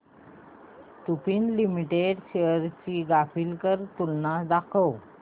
Lupin limited shares ची graphical तुलना दाखव